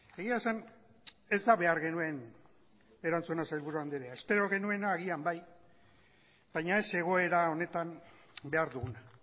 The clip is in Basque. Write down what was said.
egia esan ez da behar genuen erantzuna sailburu andrea espero genuena agian bai baina ez egoera honetan behar duguna